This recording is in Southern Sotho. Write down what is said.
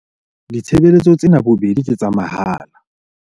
Ditshebeletso tsena bobedi ke tsa mahala.